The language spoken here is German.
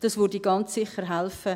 Das würde ganz sicher helfen.